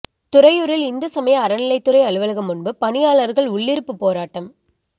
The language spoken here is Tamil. துறையூரில் இந்து சமய அறநிலையத்துறை அலுவலகம் முன்பு பணியாளர்கள் உள்ளிருப்புப் போராட்டம்